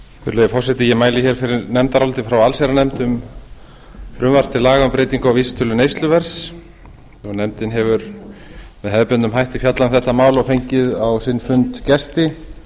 virðulegi forseti ég mæli hér fyrir nefndaráliti frá allsherjarnefnd um frumvarp til laga um breytingu á vísitölu neysluverðs nefndin hefur með hefðbundnum hætti fjallað um þetta mál og fengið á sinn fund gesti